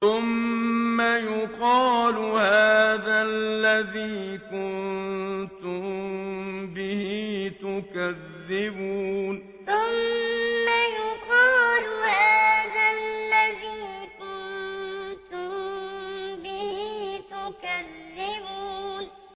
ثُمَّ يُقَالُ هَٰذَا الَّذِي كُنتُم بِهِ تُكَذِّبُونَ ثُمَّ يُقَالُ هَٰذَا الَّذِي كُنتُم بِهِ تُكَذِّبُونَ